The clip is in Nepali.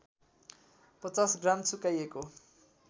५० ग्राम सुकाइएको